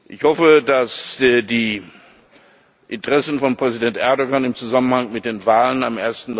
Ich hoffe, dass die Interessen von Präsident Erdoğan im Zusammenhang mit den Wahlen am